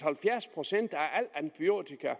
halvfjerds procent af al antibiotikaen